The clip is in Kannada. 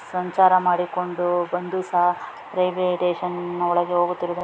ಸಂಚಾರ ಮಾಡಿಕೊಂಡು ಬಂದು ಸಹಾ ರೇಲ್ವೆ ಸ್ಟೇಷನ್‌ ಒಳಗೆ ಹೋಗುತ್ತಿ--